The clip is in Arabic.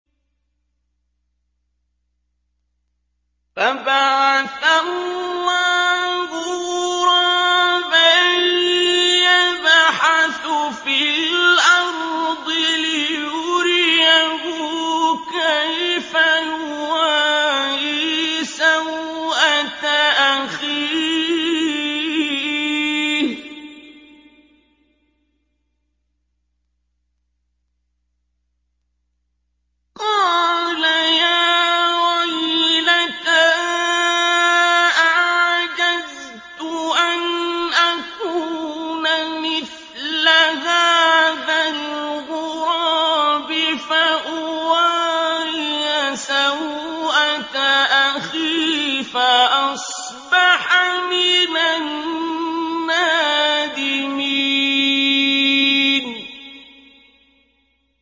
فَبَعَثَ اللَّهُ غُرَابًا يَبْحَثُ فِي الْأَرْضِ لِيُرِيَهُ كَيْفَ يُوَارِي سَوْءَةَ أَخِيهِ ۚ قَالَ يَا وَيْلَتَا أَعَجَزْتُ أَنْ أَكُونَ مِثْلَ هَٰذَا الْغُرَابِ فَأُوَارِيَ سَوْءَةَ أَخِي ۖ فَأَصْبَحَ مِنَ النَّادِمِينَ